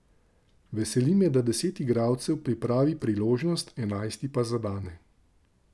Veseli me, da deset igralcev pripravi priložnost, enajsti pa zadane.